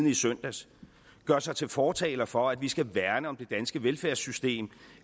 i søndags gør sig til fortaler for at vi skal værne om det danske velfærdssystem